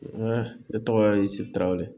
ne tɔgɔ ye sitawale